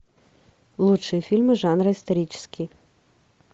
лучшие фильмы жанра исторический